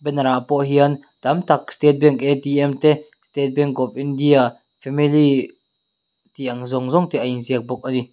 banner ah pawh hian tam tak state bank te state bank of india family tih ang zawng zawng te a inziak bawk a ni.